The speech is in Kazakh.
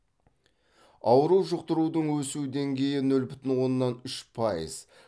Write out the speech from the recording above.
ауру жұқтырудың өсу деңгейі нөл бүтін оннан үш пайыз